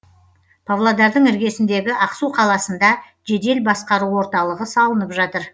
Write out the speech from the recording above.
павлодардың іргесіндегі ақсу қаласында жедел басқару орталығы салынып жатыр